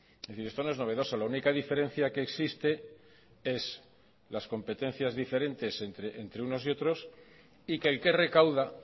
es decir esto no es novedoso la única diferencia que existe es las competencias diferentes entre unos y otros y que el que recauda